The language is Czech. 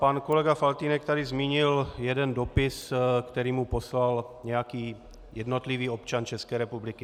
Pan kolega Faltýnek tady zmínil jeden dopis, který mu poslal nějaký jednotlivý občan České republiky.